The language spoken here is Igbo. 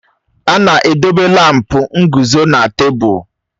A na-edobe lámpu nguzo na tebụl.